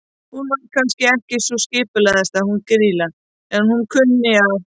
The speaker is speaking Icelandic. Hún var kannski ekki sú skipulagðasta hún Grýla, en hún kunni að.